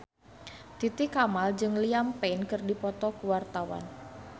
Titi Kamal jeung Liam Payne keur dipoto ku wartawan